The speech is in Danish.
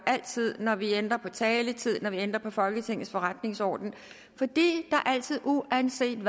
altid når vi ændrer på taletid når vi ændrer på folketingets forretningsorden fordi der altid uanset